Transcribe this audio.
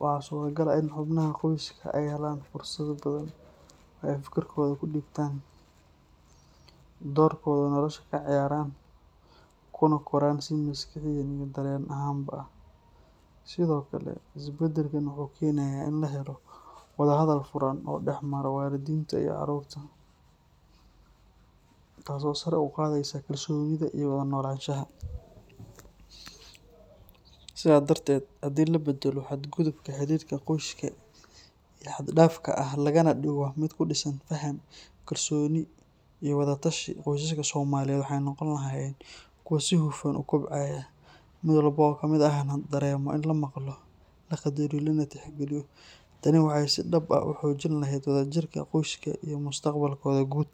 waxaa suuragal ah in xubnaha qoyska ay helaan fursado badan oo ay fikradooda ku dhiibtaan, doorkooda nolosha ka ciyaaraan, kuna koraan si maskaxiyan iyo dareen ahaanba ah. Sidoo kale, isbeddelkan wuxuu keenayaa in la helo wada hadal furan oo dhex mara waalidiinta iyo carruurta, taasoo sare u qaadaysa kalsoonida iyo wada noolaanshaha. Sidaa darteed, haddii la baddalo xadgudubka xiriirka qoyska ee xad-dhaafka ah lagana dhigo mid ku dhisan faham, kalsooni iyo wada tashi, qoysaska Soomaaliyeed waxay noqon lahaayeen kuwo si hufan u kobcaya, mid walba oo ka mid ahna dareemayo in la maqlo, la qadariyo, lana tixgeliyo. Tani waxay si dhab ah u xoojin lahayd wadajirka qoyska iyo mustaqbalkooda guud.